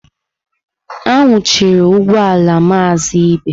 Anwụnahụrụ ugbọ ala Maazị Ibe.